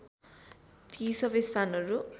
ती सबै स्थानहरू